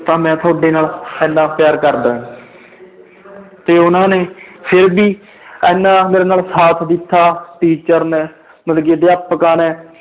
ਤਾਂ ਮੈਂ ਤੁਹਾਡੇ ਨਾਲ ਇੰਨਾ ਪਿਆਰ ਕਰਦਾ ਹੈ ਤੇ ਉਹਨਾਂ ਨੇ ਫਿਰ ਵੀ ਇੰਨਾ ਮੇਰੇ ਨਾਲ ਸਾਥ ਦਿੱਤਾ teacher ਨੇ ਮਤਲਬ ਕਿ ਅਧਿਆਪਕਾਂ ਨੇ